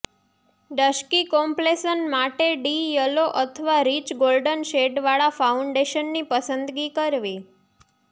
dusky complexion માટે ડી yellow અથવા રિચ ગોલ્ડન શેડવાળા ફાઉન્ડેશનની પસંદગી કરવી